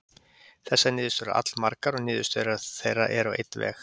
Þessar niðurstöður eru allmargar og niðurstöður þeirra eru á einn veg.